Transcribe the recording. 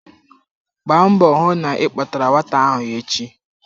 Gbaa mbọ hụ na ị kpọtara nwata ahụ echi!